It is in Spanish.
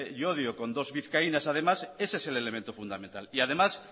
llodio con dos vizcaínas además ese es el elemento fundamental y además